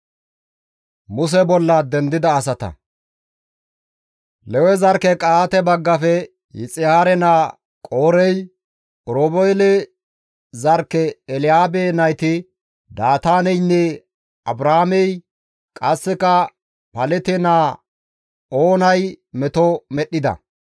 Lewe zarkke Qa7aate baggafe Yixihaare naa Qoorey, Oroobeele zarkke Elyaabe nayti Daataaneynne Abraamey qasseka Palete naa Oonay meto medhdhida.